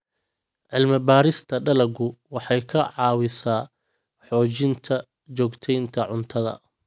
Cilmi-baarista dalaggu waxay ka caawisaa xoojinta joogteynta cuntada.